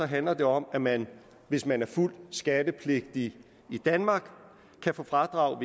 handler det om at man hvis man er fuldt skattepligtig i danmark kan få fradrag